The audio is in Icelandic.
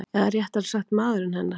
Eða réttara sagt maðurinn hennar.